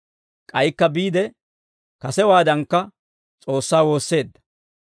K'aykka biide kasewaadankka S'oossaa woosseedda.